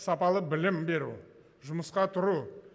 сапалы білім беру жұмысқа тұру